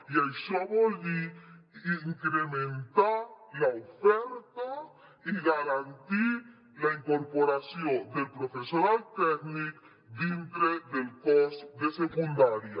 i això vol dir incrementar l’oferta i garantir la incorporació del professorat tècnic dintre del cos de secundària